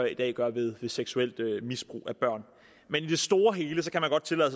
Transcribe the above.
i dag gør ved seksuelt misbrug af børn men i det store hele